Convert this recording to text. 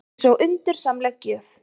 Eins og undursamleg gjöf.